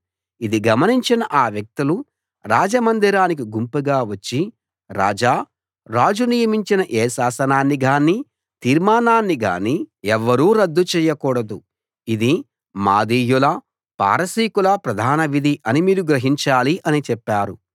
ఇది గమనించిన ఆ వ్యక్తులు రాజ మందిరానికి గుంపుగా వచ్చి రాజా రాజు నియమించిన ఏ శాసనాన్ని గానీ తీర్మానాన్ని గానీ ఎవ్వరూ రద్దు చేయకూడదు ఇది మాదీయుల పారసీకుల ప్రధాన విధి అని మీరు గ్రహించాలి అని చెప్పారు